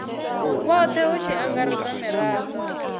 vhothe hu tshi angaredzwa mirado